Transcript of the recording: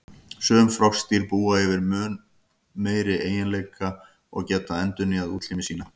Sum froskdýr búa yfir þeim eiginleika að geta endurnýjað útlimi sína.